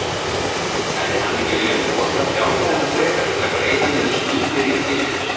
Hefði hann ekki viljað nota fjárhæðina frekar til að greiða niður skuldir ríkissjóðs?